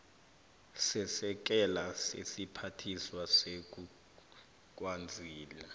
sesekela lesiphathiswa sezokwazisa